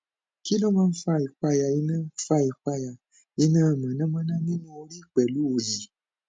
kí ló máa ń fa ìpayà iná fa ìpayà iná mọnàmọnà nínú orí pẹlú òyì